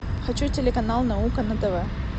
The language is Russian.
хочу телеканал наука на тв